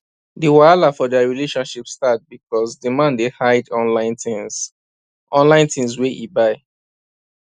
d wahala for dia relationship start because d man dey hide online things online things wey e buy